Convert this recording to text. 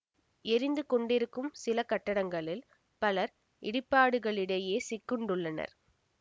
எரிந்து கொண்டிருக்கும் சில கட்டடங்களில் பலர் இடிபாடுகளிடையே சிக்குண்டுள்ளனர்